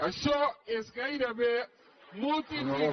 això és gairebé multiplicar